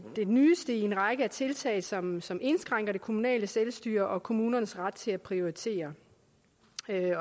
det nyeste i en række tiltag som som indskrænker det kommunale selvstyre og kommunernes ret til at prioritere